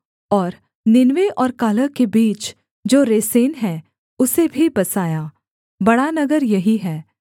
और नीनवे और कालह के बीच जो रेसेन है उसे भी बसाया बड़ा नगर यही है